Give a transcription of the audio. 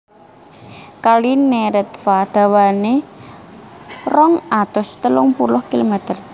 Kali Neretva dawané rong atus telung puluh kilomèter